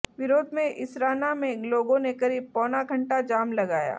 विरोध में इसराना में लोगों ने करीब पौना घंटा जाम लगाया